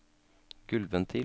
gulvventil